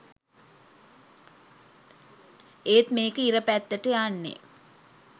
ඒත් මේක ඉර පැත්තට යන්නෙ